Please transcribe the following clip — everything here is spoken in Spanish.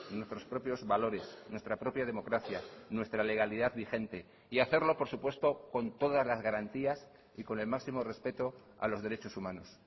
nuestros propios valores nuestra propia democracia nuestra legalidad vigente y hacerlo por supuesto con todas las garantías y con el máximo respeto a los derechos humanos